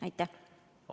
Aitäh!